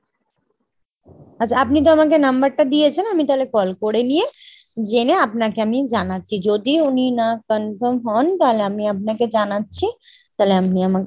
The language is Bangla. আচ্ছা আপনি তো আমাকে number টা দিয়েছেন আমি তালে call করে নিয়ে জেনে আপনাকে আমি জানাচ্ছি। যদি উনি না confirm হন তালে আমি আপনাকে জানাচ্ছি। তালে আপনি আমাকে